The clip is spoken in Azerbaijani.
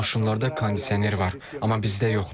Bəzi maşınlarda kondisioner var, amma bizdə yoxdur.